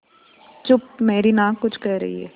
चुप मेरी नाक कुछ कह रही है